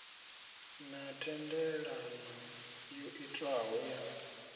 na thendelano yo itwaho ya